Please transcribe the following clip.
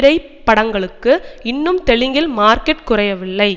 type படங்களுக்கு இன்னும் தெலுங்கில் மார்க்கெட் குறையவில்லை